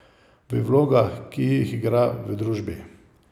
V vlogah, ki jih igra v družbi.